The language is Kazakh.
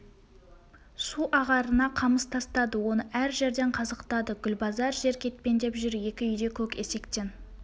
су ағарына қамыс тастады оны әр жерден қазықтады гүлбазар жер кетпендеп жүр екі үйде көк есектен